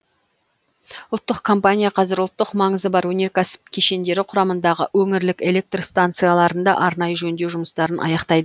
ұлттық компания қазір ұлттық маңызы бар өнеркәсіп кешендері құрамындағы өңірлік электр станцияларында арнайы жөндеу жұмыстарын аяқтайды